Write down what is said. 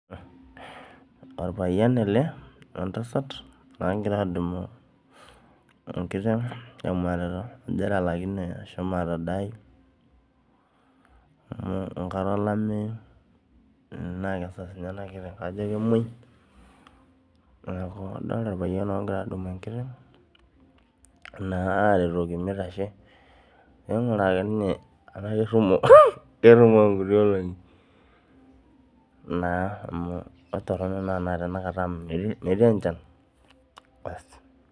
Orpayian ele wentasat nagira adumu enkiteng temwatata ajo etalakine ashomo atadaai amu enkata olameyu na kesasa nye enakiteng ajo kemwoi neaku adolta orpayian ogira adumu enkiteng ainguraa ana kitashe perumok ntuki olongi amu toronok amu metii enchan .